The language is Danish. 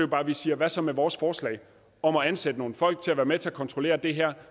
bare at vi siger hvad så med vores forslag om at ansætte nogle folk til at være med til at kontrollere det her